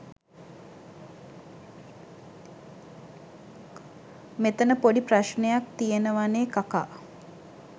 මෙතන පොඩි ප්‍රශ්නයක් තියෙනවනේ කකා.